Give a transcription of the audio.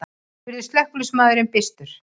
spurði slökkviliðsmaðurinn byrstur.